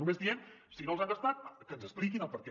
només diem si no els han gastat que ens expliquin el perquè